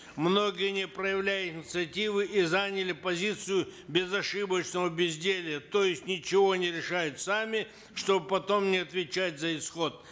многие не проявляют инициативы и заняли позицию безошибочного безделья то есть ничего не решают сами чтобы потом не отвечать за исход